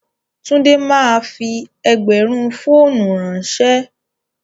Túndé máa fi ẹgbẹ̀rún fọ́ọ́nù ránṣẹ́.